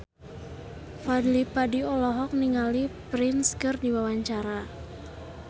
Fadly Padi olohok ningali Prince keur diwawancara